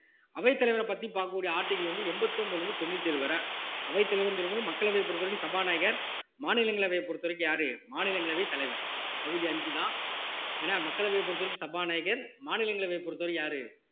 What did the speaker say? அவைத்தலைவரை பற்றி பார்க்கக்கூடிய article வந்து எண்பத்தி ஒன்பதுல இருந்து தொண்ணூத்தி ஏழு வரை அவைத்தலைவர்ன்னு சொல்லும் போது மக்களவையை பொறுத்தவரைக்கும் சபாநாயகர் மாநிலங்களவையை பொறுத்தவரைக்கும் யாரு மாநிலங்களவை தலைவர் பகுதி அஞ்சுதான் ஏன்னா மக்களவையை பொறுத்தவரைக்கும் சபாநாயகர் மாநிலங்களவையை பொறுத்தவரைக்கும் யாரு